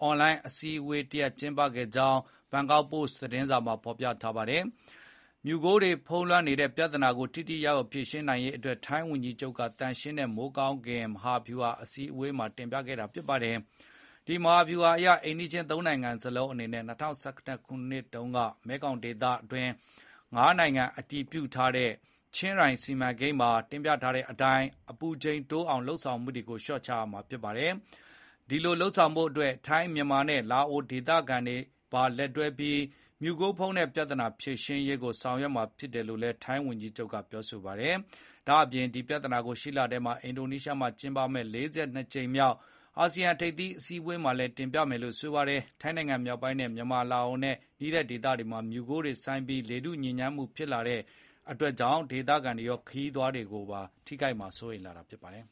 အွန်လိုင်းအစည်းဝေးတရပ် ကျင်းပခဲ့ကြောင်း ဘန်ကောက်ပို့စ် သတင်းမှာ ဖေါ်ပြထားပါတယ်။ မီးခိုးမြူတွေလွှမ်းနေတဲ့ပြဿနာကို ထိထိရောက်ရောက် ဖြေရှင်းနိုင်ရေးအတွက် ထိုင်းဝန်ကြီးချုပ်က သန့်ရှင်းတဲ့မိုးကောင်းကင် မဟာဗျူဟာကို အစည်းအဝေးမှာတင်ပြခဲ့ပါတယ်။ ဒီမဟာဗျူဟာအရ အိမ်နီးချင်း ၃ နိုင်ငံစလုံးအနေနဲ့ ၂၀၁၇ တုန်းက မဲခေါင်ဒေသတွင်း ၅ နိုင်ငံက အတည်ပြုထားတဲ့ ချင်းရိုင်စီမံကိန်းမှာတင်ပြထားတဲ့အတိုင်း အပူချိန်တိုးအောင်လုပ်ဆောင်မှုတွေကို လျှော့ချရမှာ ဖြစ်ပါတယ်။ ဒီလို လုပ်ဖို့အတွက် ထိုင်းနိုင်ငံက မြန်မာနဲ့ လာအိုနိုင်ငံတွေက ဒေသခံတွေနဲ့ပါ လက်တွဲပြီး မီးခိုးမြူပြဿနာဖြေရှင်းရေးကို ဆောင်ရွက်သွားမှာဖြစ်ကြောင်းလည်း ထိုင်းဝန်ကြီးချုပ်က ပြောပါတယ်။ ဒါ့ပြင် ဒီပြဿနာကို ရှေ့လထဲ အင်ဒိုနီးရှားမှာကျင်းပမယ့် ၄၂ ကြိမ်မြောက် အာဆီယံထိပ်သီးအစည်းဝေးမှာ တင်ပြဆွေးနွေးမှာ ဖြစ်ကြောင်းလည်း ပြောပါတယ်။ ထိုင်းနိုင်ငံမြောက်ပိုင်း မြန်မာနဲ့ လာအိုနိုင်ငံတွေနဲ့နီးတဲ့ဒေသတွေမှာ မီးခိုးမြူတွေ ဆိုင်းပြီး ရက်အတော်ကြာအောင် လေထုညစ်ညမ်းနေတတ်တာကြောင့် ဒေသခံတွေရော ခရီးသွားတွေကိုပါ စိုးရိမ်စေတာ ဖြစ်ပါတယ်